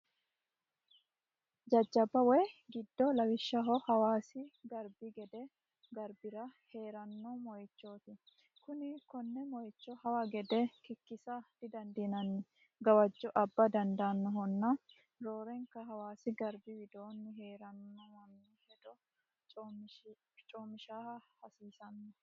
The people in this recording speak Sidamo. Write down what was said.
Jajjabba waayi gidddo lawishshaho hawaasi garbi gede garbira heerano moichoti kuni kone moicho hawa gede kikkisa didandiinanni gawajo abba dandaanohonna ,roorenka hawaasi garbi widooni heerano manni hedo co'mishshisha hasiisano.